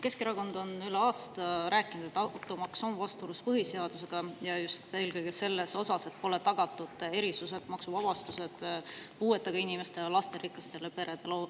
Keskerakond on üle aasta rääkinud, et automaks on vastuolus põhiseadusega, ja just eelkõige selles osas, et pole tagatud erisused: maksuvabastused puuetega inimestele ja lasterikastele peredele.